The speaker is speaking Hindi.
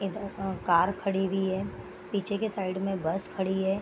इधर अ कार खड़ी हुई है पीछे के साइड में बस खड़ी है।